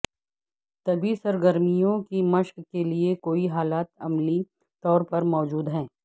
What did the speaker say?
طبی سرگرمیوں کی مشق کے لئے کوئی حالات عملی طور پر موجود ہیں